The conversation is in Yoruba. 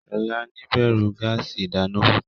Shola níbẹrù gáàsì ìdáná púpọ.